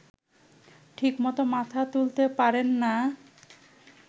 ঠিকমতো মাথা তুলতে পারেন না